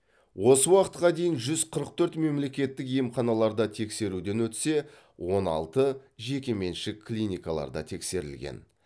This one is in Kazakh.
осы уақытқа дейін жүз қырық төрт мемлекеттік емханаларда тексеруден өтсе он алты жекеменшік клиникаларда тексерілген